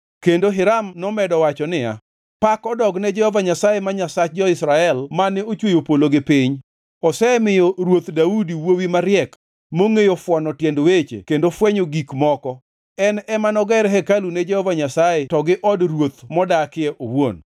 Kendo Hiram nomedo wacho niya, “Pak odogne Jehova Nyasaye ma Nyasach jo-Israel mane ochweyo polo gi piny! Osemiyo Ruoth Daudi wuowi mariek, mongʼeyo fwono tiend weche kendo fwenyo gik moko, en ema noger hekalu ne Jehova Nyasaye to gi od ruoth modakie owuon.